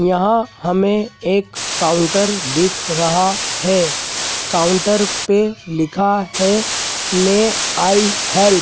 यहां हमें एक काउंटर दिख रहा है काउंटर पे लिखा है मे आई हेल्प ।